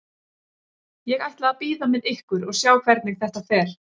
Ég ætla að bíða með ykkur og sjá hvernig þetta fer.